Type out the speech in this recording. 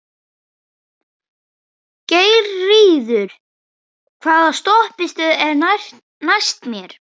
Geirríður, hvaða stoppistöð er næst mér?